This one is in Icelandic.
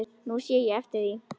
Nú sé ég eftir því.